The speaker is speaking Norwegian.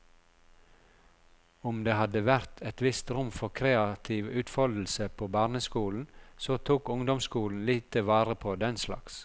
Om det hadde vært et visst rom for kreativ utfoldelse på barneskolen, så tok ungdomsskolen lite vare på denslags.